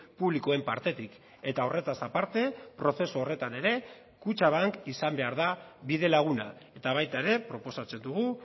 publikoen partetik eta horretaz aparte prozesu horretan ere kutxabank izan behar da bidelaguna eta baita ere proposatzen dugu